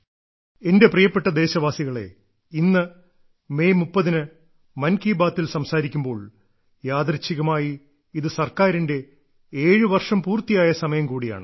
എന്റെ പ്രിയപ്പെട്ട ദേശവാസികളെ ഇന്ന് മെയ് 30 ന് മൻ കി ബാത്തിൽ സംസാരിക്കുമ്പോൾ യാദൃശ്ചികമായി ഇത് സർക്കാറിന്റെ ഏഴു വർഷം പൂർത്തിയായ സമയം കൂടിയാണ്